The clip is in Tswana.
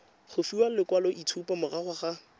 go fiwa lekwaloitshupo morago ga